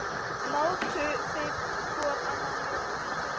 Mátu þeir hvor annan mjög mikils.